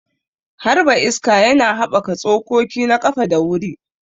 Harba iska yana haɓaka tsokoki na ƙafa da wuri.